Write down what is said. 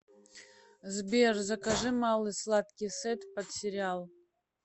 сбер закажи малый сладкий сет под сериал